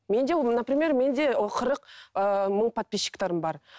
менде ол например менде қырық ыыы мың подписчиктерім бар